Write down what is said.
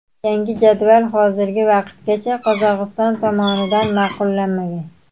Yangi jadval hozirgi vaqtgacha Qozog‘iston tomonidan ma’qullanmagan.